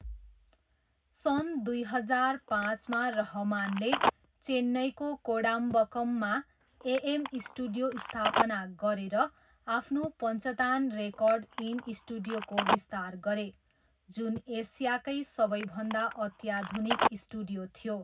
सन् दुई हजार पाँचमा रहमानले चेन्नईको कोडाम्बक्कममा एएम स्टुडियो स्थापना गरेर आफ्नो पञ्चतान रेकर्ड इन स्टुडियोको विस्तार गरे, जुन एसियाकै सबैभन्दा अत्याधुनिक स्टुडियो थियो।